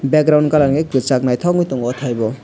background colour hwnkhe kwchak naithok ungui tongo oh thai bo.